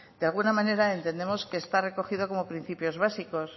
de alguna manera entendemos que está recogido como principios básicos